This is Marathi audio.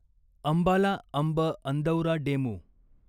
अंबाला अंब अंदौरा डेमू